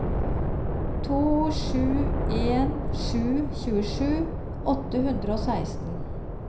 to sju en sju tjuesju åtte hundre og seksten